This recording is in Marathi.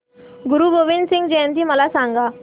गुरु गोविंद सिंग जयंती मला सांगा